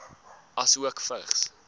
asook vigs